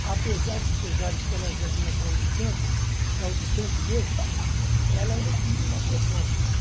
apesar dos pesares que ela já vinha claudicando, claudicante mesmo, ela ainda tinha uma proposta.